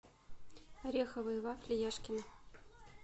ореховые вафли яшкино